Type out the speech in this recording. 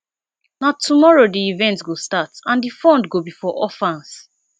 na tomorrow the event go start and the fund go be for orphans